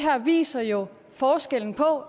viser jo forskellen på